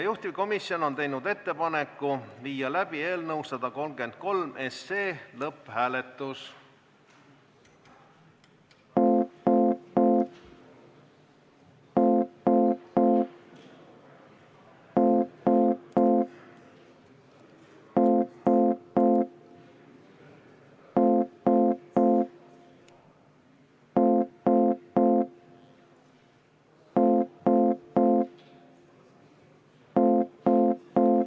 Juhtivkomisjon on teinud ettepaneku viia läbi eelnõu 133 lõpphääletus.